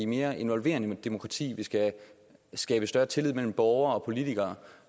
mere involverende demokrati og at vi skal skabe større tillid mellem borgere og politikere